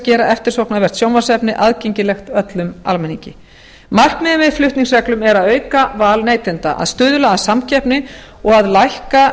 gera eftirsóknarvert sjónvarpsefni aðgengilegt öllum almenningi markmiðið með flutningsreglum er að auka val neytenda að stuðla að samkeppni og að lækka